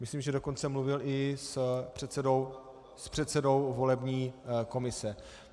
Myslím, že dokonce mluvil i s předsedou volební komise.